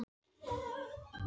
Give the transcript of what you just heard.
Forni, viltu hoppa með mér?